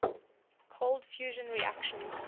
cold fusion reactions